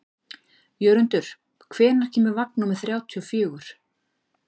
Jörundur, hvenær kemur vagn númer þrjátíu og fjögur?